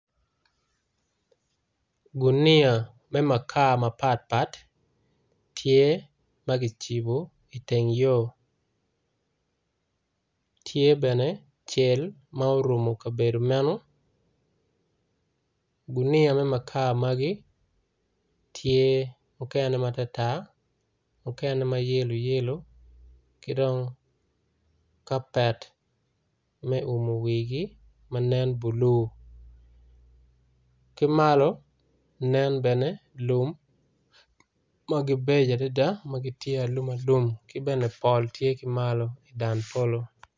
Guniya me makar mapat pat tye magicibo i teng yo tye bene cel ma orumo kabedo man guniya me makar magi tye okene matar tar okene mayelo yelo kidong kapet ma oumo wigi manen blue kimalo nen bene lum magibeco adada magitye alum alum kibene pol tye kimalo idan polo.